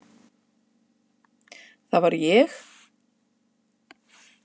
Það var ég!